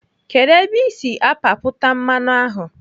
Kedụ ebe ị si apapụta mmanụ ahụ?